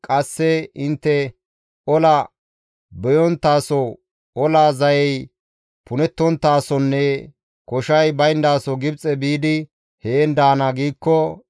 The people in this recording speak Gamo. qasse intte, ‹Ola beyonttaso, ola zayey punettonttaasonne koshay bayndaso Gibxe biidi heen daana› giikko,